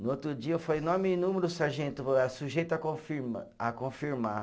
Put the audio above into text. No outro dia eu falei, nome e número, sargento, ah sujeito a confirma, a confirmar.